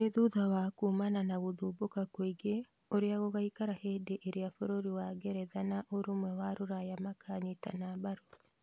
Nĩ thutha wa kumana na gũthumbũka kũingĩ ũrĩa gũgaikara hĩndĩ ĩrĩa bũrũri wa ngeretha na Ũrũmwe wa Rũraya makanyitana mbaru